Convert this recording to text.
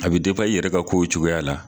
A bɛ i yɛrɛ ka kow cogoya la.